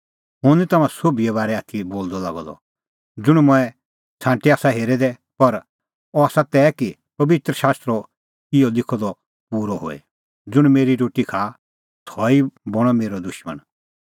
हुंह निं तम्हां सोभिए बारै आथी बोलदअ लागअ द ज़ुंण मंऐं छ़ांटी आसा हेरै दै पर अह आसा तै कि पबित्र शास्त्रो इहअ लिखअ द पूरअ होए ज़ुंण मेरी रोटी खाआ सह ई बणअ मेरअ दुशमण